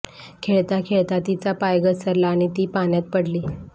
खेळता खेळता तिचा पाय घसरला आणि ती पाण्यात पडली